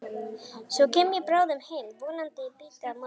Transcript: Svo kem ég bráðum heim, vonandi í bítið á morgun.